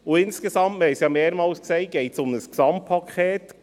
Insgesamt – wir haben es ja mehrmals gesagt – geht es um ein Gesamtpaket.